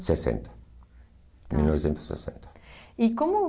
Sessenta. Tá. Mil novecentos e sessenta. E como...